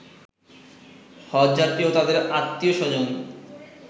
হজ্বযাত্রী ও তাদের আত্মীয় স্বজন